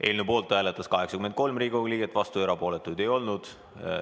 Eelnõu poolt hääletas 83 Riigikogu liiget, vastuolijaid ega erapooletuid ei olnud.